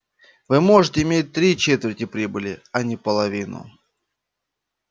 вы можете иметь три четверти прибыли а не половину